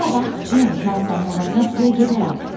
Bura bax, Cim, mən sənin əvəzinə suya gedərəm.